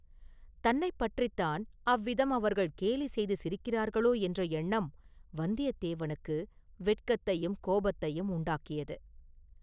தன்னைப் பற்றித்தான் அவ்விதம் அவர்கள் கேலி செய்து சிரிக்கிறார்களோ என்ற எண்ணம் வந்தியத்தேவனுக்கு வெட்கத்தையும் கோபத்தையும் உண்டாக்கியது.